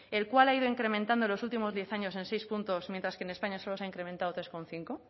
el cual ha ido incrementando en los últimos diez años en seis puntos mientras que en españa solo se ha incrementado tres coma cinco